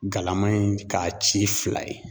Galama in k'a ci fila ye.